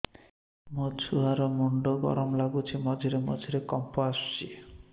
ମୋ ଛୁଆ ର ମୁଣ୍ଡ ଗରମ ଲାଗୁଚି ମଝିରେ ମଝିରେ କମ୍ପ ଆସୁଛି